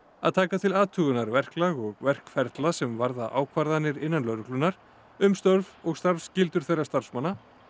að taka til athugunar verklag og verkferla sem varða ákvarðanir innan lögreglunnar um störf og starfsskyldur þeirra starfsmanna